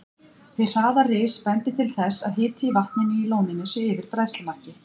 Hið hraða ris bendir til þess, að hiti í vatninu í lóninu sé yfir bræðslumarki.